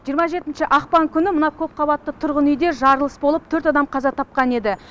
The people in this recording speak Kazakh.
жиырма жетінші ақпан күні мына көпқабатты тұрғын үйде жарылыс болып төрт адам қаза тапқан еді